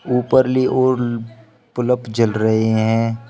ऊपर ली ओर बलब जल रहे हैं।